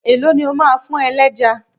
Èló ni o máa fún ẹlẹ́ja?